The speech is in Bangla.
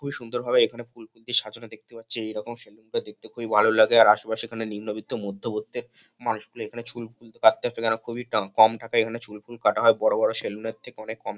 খুবই সুন্দরভাবে এখানে সাজানো দেখতে পাচ্ছি এইরকম সেলুন টা দেখতে খুবই ভালো লাগে আর আসেপাশে নিন্মবিত্ত মধ্যবত্তে মানুষগুলি এখানে চুলফুল কাটতে আসে তারা খুবই কাম কম টাকায় এখানে চুলফুল কাটা হয় বড় বড় সেলুন এর থেকে অনেক কম।